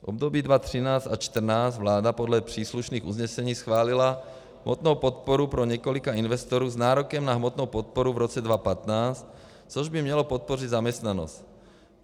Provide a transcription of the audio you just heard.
V období 2013 a 2014 vláda podle příslušných usnesení schválila hmotnou podporu pro několik investorů s nárokem na hmotnou podporu v roce 2015, což by mělo podpořit zaměstnanost.